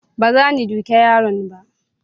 baza ni duke yaron ba